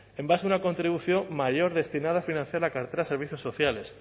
en base a una contribución mayor destinada a financiar la cartera de servicios sociales